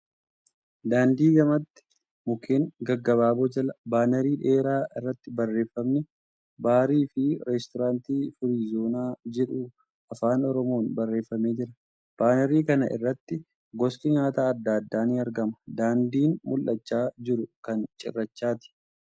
Daandii gamatti mukkeen gaggabaaboo jala baanarii dheeraa irratti barreefamni ' Baarii fi Reestooraantii Firiizoonaa ' jedhu Afaan Oromoon barreefamee jira. Baaanarii kana irratti gosti nyaataa adda addaa ni aragama. Daandiin mul'achaa jiru kan cirrachaati.